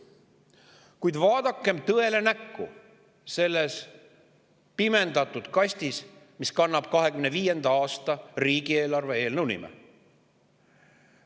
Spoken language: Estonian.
Kuid vaadakem tõele näkku selles pimendatud kastis, mis kannab 2025. aasta riigieelarve eelnõu nime.